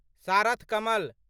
सारथ कमल